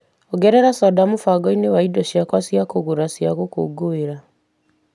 Ongerera soda mũbango-inĩ wakwa wa indo cia kũgũra cia gũkũngũĩra.